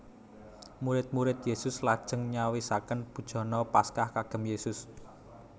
Murid murid Yesus lajeng nyawisaken bujana Paskah kagem Yesus